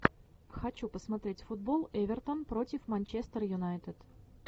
хочу посмотреть футбол эвертон против манчестер юнайтед